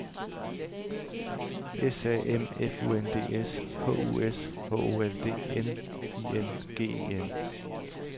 S A M F U N D S H U S H O L D N I N G E N